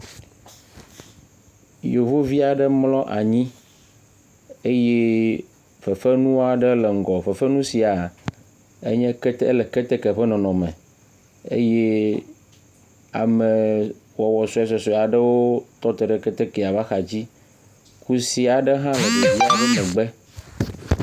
Yevuvi aɖe mlɔ anyi eye fefenua ɖe le ŋgɔ, fefenu sia enye, ele keteke ƒe nɔnɔme eye ame wɔwɔ suesuesue aɖe tɔ te ɖe ketekea ƒe axa dzi. Kusia aɖe hã le ɖevia ƒe megbe.